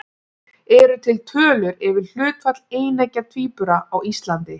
Eru til tölur yfir hlutfall eineggja tvíbura á Íslandi?